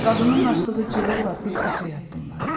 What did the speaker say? Qadının açdığı cığırla bir köpək addımladı.